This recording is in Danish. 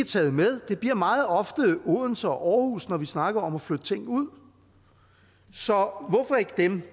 taget med det bliver meget ofte odense og aarhus når vi snakker om at flytte ting ud så hvorfor ikke dem